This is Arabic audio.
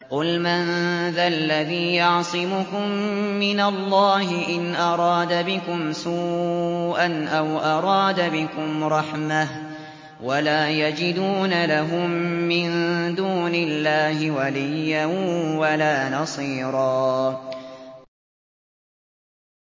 قُلْ مَن ذَا الَّذِي يَعْصِمُكُم مِّنَ اللَّهِ إِنْ أَرَادَ بِكُمْ سُوءًا أَوْ أَرَادَ بِكُمْ رَحْمَةً ۚ وَلَا يَجِدُونَ لَهُم مِّن دُونِ اللَّهِ وَلِيًّا وَلَا نَصِيرًا